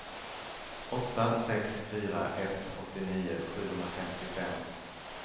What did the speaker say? åtta sex fyra ett åttionio sjuhundrafemtiofem